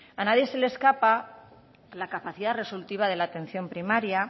a nadie se le escapa la capacidad resolutiva de la atención primaria